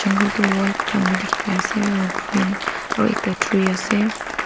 ghor du white khan bi dikhi pai asey aro green aro ekta tree asey.